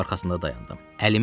Gəlib arxasında dayandım.